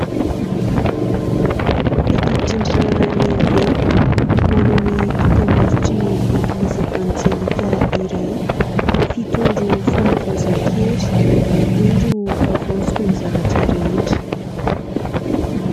Peta-drindrina lehibe, maneho ny dokam-barotry ny eglizy evanjelika iray :" fito andro fanavaozan-kery, indro havaoziko ny zavatra rehetra ".